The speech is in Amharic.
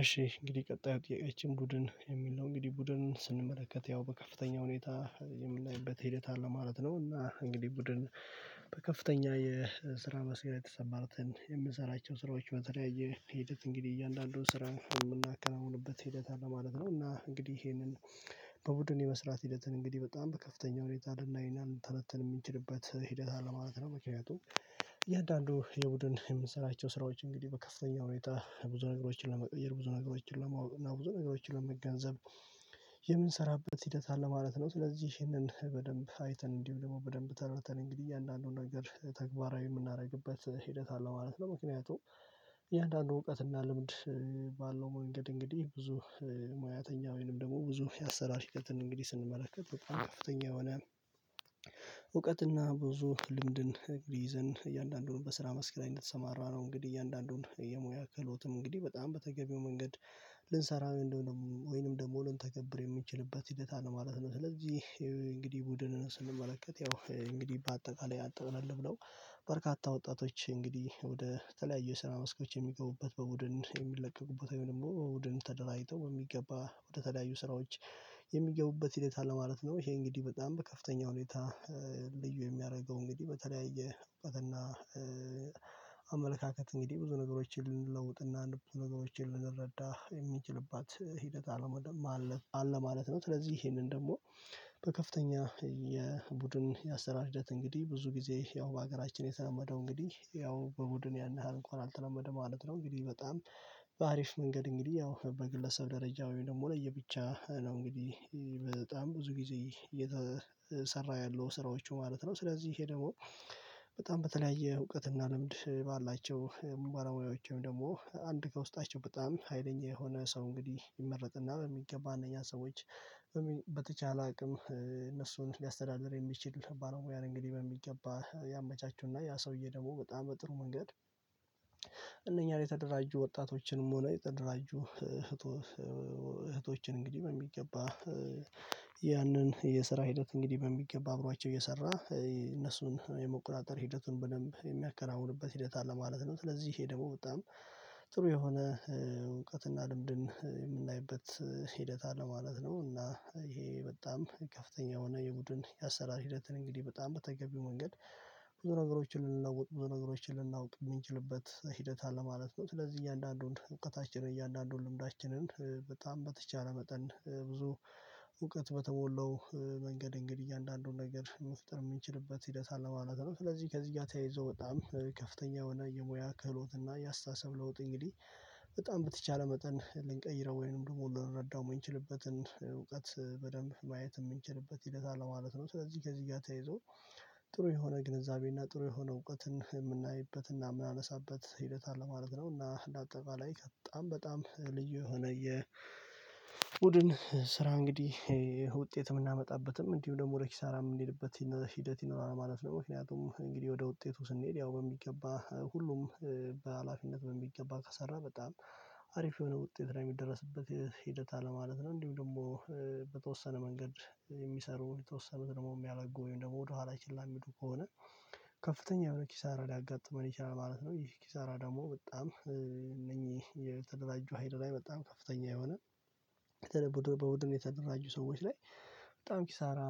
እሺ እንግዲህ ቀጣዩ ጥያቄያችን ቡድን የሚል ነው እንግዲህ ቡድን ስንመለከት ያው በከፍተኛ ሁኔታ የምናይበት ሂደት አለ ማለት ነው። እና እንግዲህ ቡድን በከፍተኛ የስራ መስክ ላይ ተሰማርተን የምንሰራቸው ስራዎች በተለያየ ሂደት እንግዲህ እያንዳንዱን ስራ የምናከናውንበት ሂደት አለ ማለት ነው። እና እንግዲህ ይሄንን በቡድን የመስራት ሂደትን እንግዲህ በጣም በከፍተኛው ሁኔታ ልናይ እና ልንተነትን የምንችልበት ሂደት አለ ማለት ነው። ምክንያቱም እያንዳንዱ የቡድን የምንሰራቸው ስራዎች እንግዲህ በከፍተኛው ሁኔታ ብዙ ነገሮችን ለመቀየር ብዙ ነገሮችን ለማወቅ እና ብዙ ነገሮችን የምንሰራበት ሂደት አለ ማለት ነው። ስለዚህ ይህንን በደንብ አይተን እንዲሁ ደግሞ በደንብ ተረድተን እንግዲህ አንዳንዱን ነገር ተግባራዊ የምናደርግበት ሂደት አለ ማለት ነው። ምክንያቱም እያንዳንዱ እውቀት እና ልምድ ባለው መንገድ እንግዲህ ብዙ ሙያተኛ ወይንም ደግሞ ብዙ የአሰራር ሂደትን እንግዲህ ስንመለከት በጣም ከፍተኛ የሆነ እውቀትና ብዙ ልምድን ይዘን እያንዳንዱን በስራ መስክ ላይ እንደተሰማራ ነው። እንግዲህ እያንዳንዱን የሙያ ክህሎትም እንግዲህ በጣም በተገቢው መንገድ ልንሰራ እንደሆነ ወይንም ደግሞ ልንተገብር የምንችልበት ሂደት አለ ማለት ነው። ስለዚህ እንግዲህ ቡድንን ስንመለከት ያው እንግዲህ በአጠቃላይ ያው ጠቅለል ብለው በርካታ ወጣቶች እንግዲህ ወደ ተለያዩ ስራ መስኮች የሚገቡበት በቡድን የሚለቀቁበት ወይም ደግሞ በቡድን ተደራጅቶ የሚገባ ወደ ተለያዩ ስራዎች የሚገቡበት ህይወት አለ ማለት ነው። ይሄ እንግዲህ በጣም በከፍተኛ ሁኔታ ልዩ የሚያደርገው እንግዲህ በተለያየ እውቀትና አመለካከት እንግዲህ ብዙ ነገሮችን ልንለውጥና እና ነገሮችን ልንረዳ የምንችልባት ሂደት አለ ማለት ነው። ስለዚህ ይሄንን ደግሞ በከፍተኛ የቡድን የአሰራር ሂደት እንግዲህ ብዙ ጊዜ ያው በሀገራችን የተለመደው እንግዲህ ያው በቡድን ያን ያህል እንኳን አልተለመደም ማለት ነው። እንግዲህ በጣም በሀሪፍ መንገድ እንግዲህ ያው በግለሰብ ደረጃ ወይም ደግሞ ለየብቻ ነው እንግዲህ በጣም ብዙ ጊዜ እየተሰራ ያለው ስራዎች ማለት ነው። ስለዚህ ይሄ ደግሞ በጣም በተለያየ እውቀት እና ልምድ ባላቸው ባለሙያዎችም ደግሞ አንድ ከውስጣቸው በጣም ሀይለኛ የሆነ ሰው እንግዲህ ይመረጥና በሚገባ አንደኛ ሰዎች በተቻለ አቅም እነሱን ሊያስተዳድር የሚችል ባለሙያን እንግዲህ በሚገባ ያመቻቹና ያ ሰውዬ ደግሞ በጣም በጥሩ መንገድ እነኛን የተደራጁ ወጣቶችንም ሆነ የተደራጁ እህቶችን እንግዲህ በሚገባ ያንን የስራ ሂደት እንግዲህ በሚገባ አብሯቸው እየሰራ እነሱን የመቆጣጠር ሂደቱን በደንብ የሚያከናውንበት ሂደት አለ ማለት ነው። ስለዚህ ይሄ ደግሞ በጣም ጥሩ የሆነ እውቀትና ልምድን የምናይበት ሂደት አለ ማለት ነው። እና ይሄ በጣም ከፍተኛ የሆነ የቡድን የአሰራር ሂደትን እንግዲህ በጣም በተገቢው መንገድ ብዙ ነገሮችን ልናውቅ ብዙ ነገሮችን ልናውቅ የምንችልበት ሂደት አለማለት ነው። ስለዚህ እያንዳንዱን እውቀታችን እያንዳንዱን ልምዳችንን በጣም በተቻለ መጠን ብዙ እውቀት በተሞላው መንገድ እንግዲህ እያንዳንዱን ነገር መፍጠር የምንችልበት ሂደት አለማለት ነው። ስለዚህ ከዚህ ጋር ተያይዘው በጣም ከፍተኛ የሆነ የሙያ ክህሎት እና የአስተሳሰብ ለውጥ እንግዲህ በጣም በተቻለ መጠን ልንቀይረው ወይንም ደግሞ በምንረዳው ምንችልበትን እውቀት በደንብ ማየት የምንችልበት ሂደት አለ ማለት ነው። ስለዚህ ከዚህ ጋር ተይዞ ጥሩ የሆነ ግንዛቤ እና ጥሩ የሆነ እውቀትን የምናይበት እና የምናነሳበት ሂደት አለ ማለትነው። እና አጠቃላይ በጣም በጣም ልዩ የሆነ የቡድን ስራ እንግዲህ ውጤት የምናመጣበትም እንዲሁ ደግሞ ወደ ኪሳራ የምንሄድበት ሂደት ይኖራል ማለት ነው። ምክንያቱም እንግዲህ ወደ ውጤቱ ስንሄድ ያው በሚገባ ሁሉም በሃላፊነት በሚገባ ከሰራ በጣም ሀሪፍ የሆነ ውጤት ላይ የሚደረስበት ሂደት አለ ማለት ነው። እንዲሁም ደግሞ በተወሰነ መንገድ የሚሰሩ የተወሰኑት ደግሞ የሚያለጉ ወይም ደግሞ ወደኋላ ችላ የሚሉ ከሆነ ከፍተኛ የሆነ ኪሳራ ሊያጋጥመን ይችላል ማለት ነው። ይህ ኪሳራ ደግሞ በጣም እነኚህ የተደራጁ ሀይል ላይ በጣም ከፍተኛ የሆነ ከዛ ቡድን በቡድን የተደራጁ ሰዎች ላይ በጣም ኪሳራ